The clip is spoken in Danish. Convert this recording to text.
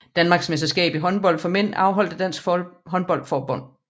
Danmarksmesterskab i håndbold for mænd afholdt af Dansk Håndbold Forbund